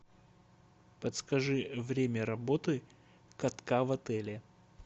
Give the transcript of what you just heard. подскажи время работы катка в отеле